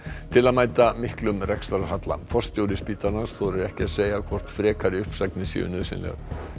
til að mæta miklum rekstrarhalla forstjóri spítalans þorir ekki að segja hvort frekari uppsagnir séu nauðsynlegar